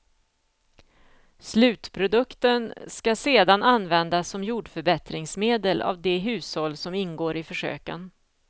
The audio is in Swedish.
Slutprodukten skall sedan användas som jordförbättringsmedel av de hushåll som ingår i försöken.